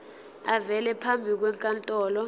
avele phambi kwenkantolo